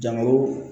Jamaw